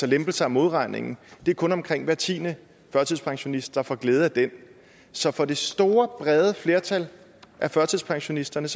lempelsen af modregningen det er kun omkring hver tiende førtidspensionist der får glæde af den så for det store brede flertal af førtidspensionisterne